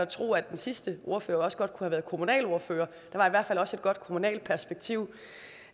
tro at den sidste ordfører også godt kunne have været kommunalordfører der var i hvert fald også et godt kommunalt perspektiv